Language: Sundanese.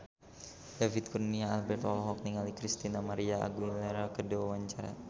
David Kurnia Albert olohok ningali Christina María Aguilera keur diwawancara